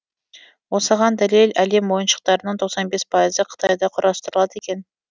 осыған дәлел әлем ойыншықтарының пайызы қытайда құрастырылады екен